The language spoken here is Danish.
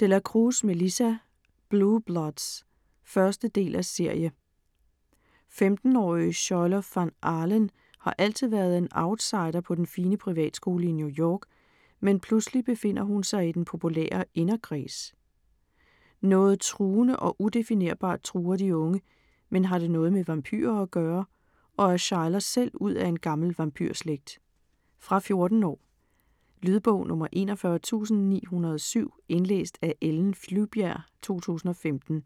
De la Cruz, Melissa: Blue Bloods 1. del af serie. 15-årige Schuyler Van Alen har altid været en outsider på den fine privatskole i New York, men pludselig befinder hun sig i den populære inderkreds. Noget truende og udefinerbart truer de unge, men har det noget med vampyrer at gøre, og er Shuyler selv ud af en gammel vampyrslægt? Fra 14 år. Lydbog 41907 Indlæst af Ellen Flyvbjerg, 2015.